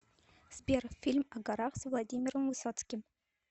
сбер фильм о горах с владимиром высоцким